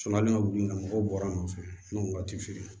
mɔgɔw bɔra a nɔfɛ n'u waati feere